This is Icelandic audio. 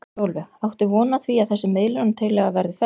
Sólveig: Áttu von á því að þessi miðlunartillaga verði felld?